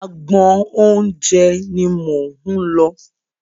Agbọn oúnjẹ ni mò ń lọ.